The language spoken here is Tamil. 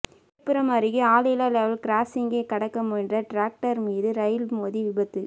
விழுப்புரம் அருகே ஆளில்லா லெவல் கிராசிங்கை கடக்க முயன்ற டிராக்டர் மீது ரயில் மோதி விபத்து